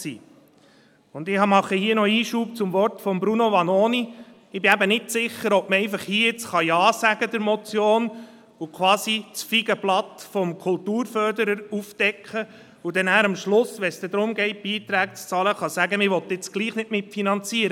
Und ich mache noch einen Einschub zum Wort von Bruno Vanoni: Ich bin nicht sicher, ob man zu dieser Motion nun einfach Ja sagen und sich quasi das Feigenblatt des Kulturförderers vorhalten kann, aber wenn es dann darum geht, Beiträge zu bezahlen, sagen kann, man wolle nun doch nicht mitfinanzieren.